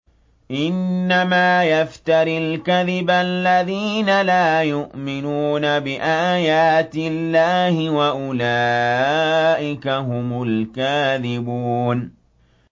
إِنَّمَا يَفْتَرِي الْكَذِبَ الَّذِينَ لَا يُؤْمِنُونَ بِآيَاتِ اللَّهِ ۖ وَأُولَٰئِكَ هُمُ الْكَاذِبُونَ